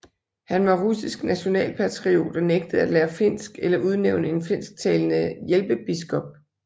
Han var russisk nationalpatriot og nægtede at lære finsk eller udnævne en finsktalende hjælpebiskop